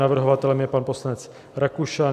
Navrhovatelem je pan poslanec Rakušan.